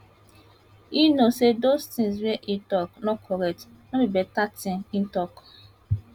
e no say those tins wey e tok no correct no be beta tin e tok